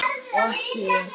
Og ekki ég!